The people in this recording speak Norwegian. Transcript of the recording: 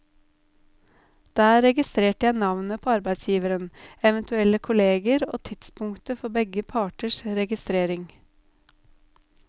Der registrerte jeg navnet på arbeidsgiveren, eventuelle kolleger og tidspunktet for begge parters registrering.